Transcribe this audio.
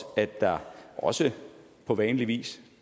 at der også på vanlig vis